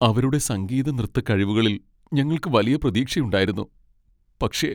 അവരുടെ സംഗീത നൃത്ത കഴിവുകളിൽ ഞങ്ങൾക്ക് വലിയ പ്രതീക്ഷയുണ്ടായിരുന്നു. പക്ഷേ!